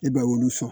E ba olu sɔn